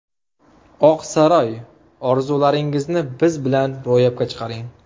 Oq saroy – Orzularingizni biz bilan ro‘yobga chiqaring.